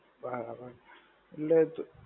બરાબર. એટલે જ તો